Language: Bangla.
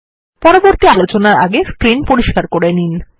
পরবর্তী আলোচনার আগে স্ক্রিন পরিস্কার করে নিন